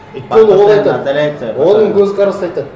оның көзқарасы айтады